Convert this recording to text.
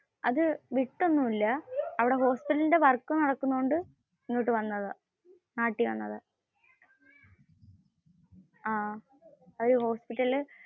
അത് വിട്ട് ഒന്നുമില്ല. അവിടെ ഹോസ്പിറ്റലിന്റെ work നടക്കുന്നതുകൊണ്ടു ഇങ്ങോട്ട് വന്നതാ.